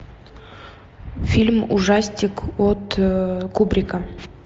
фильм ужастик от кубрика